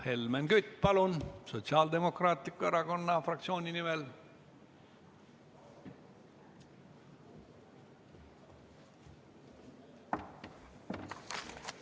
Helmen Kütt, palun Sotsiaaldemokraatliku Erakonna fraktsiooni nimel!